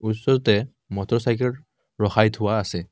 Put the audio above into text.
ওচৰতে মটৰচাইকেল ৰখাই থোৱা আছে।